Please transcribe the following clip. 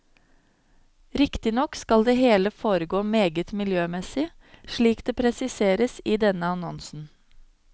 Riktignok skal det hele foregå meget miljømessig, slik det presiseres i denne annonsen.